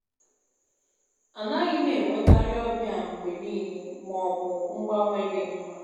A nàghị̀ m enwe kàrị́ ọ́bịà mgbe nị́ịlè ma ọ bụ mgbanwe dị nmmà.